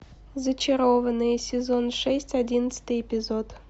зачарованные сезон шесть одиннадцатый эпизод